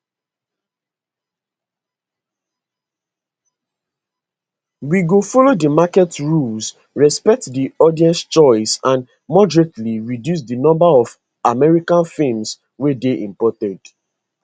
we go follow di market rules respect di audience choice and moderately reduce di number of american films wey dey imported